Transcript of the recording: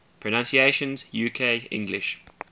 pronunciations uk english